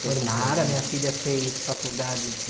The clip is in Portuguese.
Formaram, a minha filha fez faculdade de...